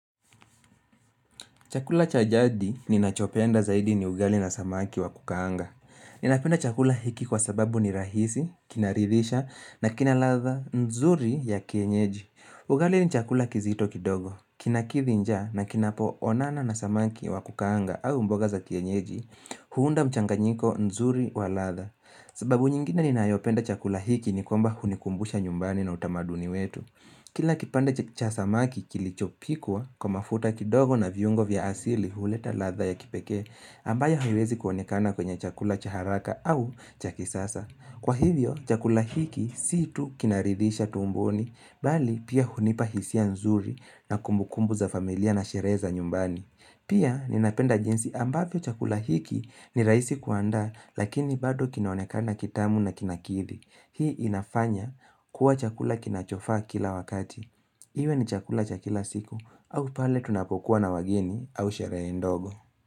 Chakula cha jadi ninachopenda zaidi ni ugali na samaki wa kukaanga. Ninapenda chakula hiki kwa sababu ni rahisi, kinaridhisha, na kina ladha, nzuri ya kienyeji. Ugali ni chakula kizito kidogo. Kina kidhi njaa na kinapo onana na samaki wa kukaanga au mboga za kienyeji, huunda mchanganyiko nzuri wa latha. Sababu nyingine ninayopenda chakula hiki ni kwamba hunikumbusha nyumbani na utamaduni wetu. Kila kipande cha samaki kilichopikwa kwa mafuta kidogo na viungo vya asili huleta ladha ya kipekee ambayo haiwezi kuonekana kwenye chakula cha haraka au cha kisasa. Kwa hivyo, chakula hiki si tu kinaridhisha tumboni, bali pia hunipa hisia nzuri na kumbukumbu za familia na sherehe za nyumbani. Pia ninapenda jinsi ambavyo chakula hiki ni raisi kuandaa lakini bado kinaonekana kitamu na kinakidhi. Hii inafanya kuwa chakula kinachofa kila wakati Iwe ni chakula cha kila siku au pale tunapokuwa na wageni au sherehe ndogo.